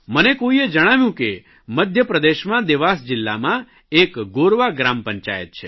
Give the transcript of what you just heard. મને કોઇએ જણાવ્યું કે મધ્યપ્રદેશમાં દેવાસ જિલ્લામાં એક ગોરવા ગ્રામ પંચાયત છે